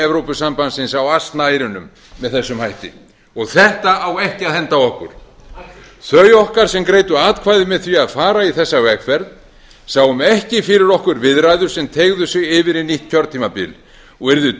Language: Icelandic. evrópusambandsins á asnaeyrunum með þessum hætti þetta á ekki að henda okkur af hverju þau okkar sem greiddu atkvæði með því að fara í þessa vegferð sáum ekki fyrir okkur viðræður sem teygðu sig yfir í nýtt kjörtímabil og urðu